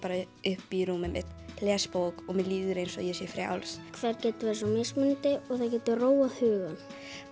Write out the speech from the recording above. upp í rúmið mitt les bók og mér líður eins og ég sé frjáls það getur verið svo mismunandi og það getur róað hugann